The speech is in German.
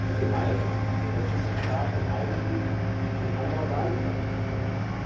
Die heißt, dass Mitgliedstaaten eigentlich den Anbau gar nicht verbieten können.